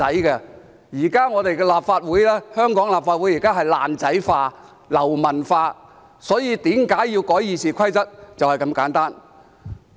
現時香港的立法會是"爛仔化"、"流氓化"，所以為何要修改《議事規則》，理由就是這麼簡單。